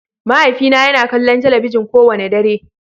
Mahaifina yana kallon talabijin kowane dare.